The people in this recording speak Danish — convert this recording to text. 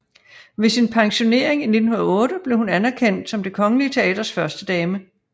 Ved sin pensionering i 1908 blev hun anerkendt som Det Kongelige Teaters førstedame